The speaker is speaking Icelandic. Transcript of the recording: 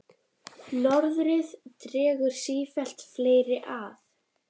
Norðrið dregur sífellt fleiri að.